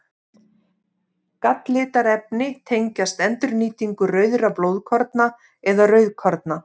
Galllitarefni tengjast endurnýtingu rauðra blóðkorna eða rauðkorna.